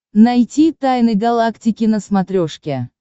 найти тайны галактики на смотрешке